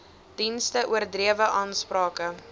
dienste oordrewe aansprake